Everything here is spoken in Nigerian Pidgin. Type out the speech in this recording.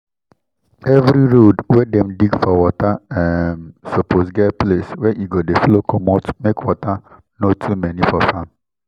every road wey dem dig for water um suppose get place wey e go dey flow comot make water no to many for farm